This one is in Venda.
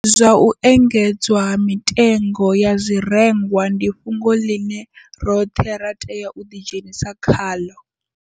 Zwa u engedzwa ha mitengo ya zwirengwa ndi fhungo ḽine roṱhe ra tea u ḓidzhenisa khaḽo